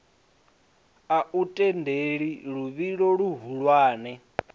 a u tendeli luvhilo luhulwane